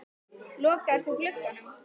Lokaðir þú glugganum?